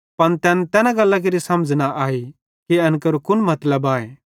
पन तैन तैना गल्लां केरि समझ़ न आई कि एन केरो कुन मतलब आए